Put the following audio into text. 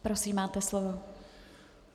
Prosím, máte slovo.